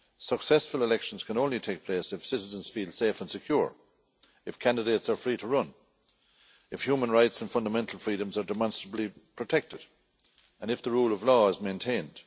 Successful elections can only take place if citizens feel safe and secure, if candidates are free to run, if human rights and fundamental freedoms are demonstrably protected, and if the rule of law is maintained.